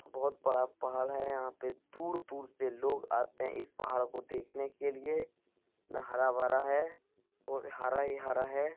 बहुत बड़ा पहाड़ यहाँ पे दूर-दूर से लोग आते हैं इस पहाड़ को देखने के लिए न हरा-भरा है और हरा ही हरा है ।